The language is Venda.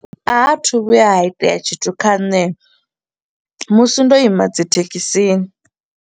A athu vhuya ha itea tshithu kha nṋe musi ndo ima dzithekhisini.